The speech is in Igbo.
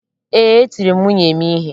Ee, etiri m nwunye m ihe.